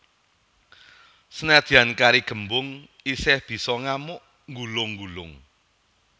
Senadyan kari gembung isih bisa ngamuk nggulung nggulung